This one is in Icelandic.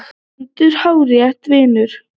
GVENDUR: Hárrétt, vinur!